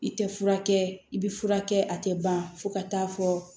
I tɛ furakɛ i bɛ furakɛ a tɛ ban fo ka taa fɔ